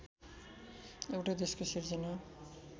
एउटै देशको सिर्जना